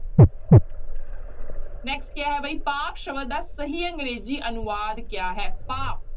Next ਕਿਆ ਹੈ ਬਈ ਪਾਪ ਸ਼ਬਦ ਦਾ ਸਹੀ ਅੰਗਰੇਜ਼ੀ ਅਨੁਵਾਦ ਕਿਆ ਹੈ ਪਾਪ